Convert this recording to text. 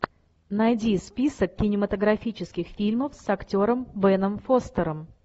найди список кинематографических фильмов с актером беном фостером